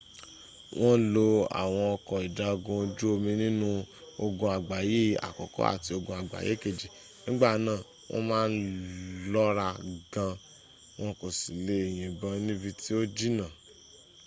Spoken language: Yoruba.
wọ́n lo àwọn ọkọ̀ ìjagun ojú omi nínú ogun àgbáyé àkọ́kọ́ àti ogun àgbáyé kejì. nígbà náà wọ́n má ń lọ́ra gan won kò sì le yìnbọn níbi tí ó jìnnà